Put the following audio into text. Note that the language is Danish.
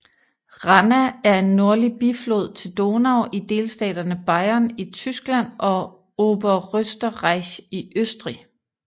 Ranna er en nordlig biflod til Donau i delstaterne Bayern i Tyskland og Oberösterreich i Østrig